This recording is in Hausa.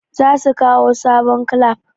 zasu kawo sabon clamp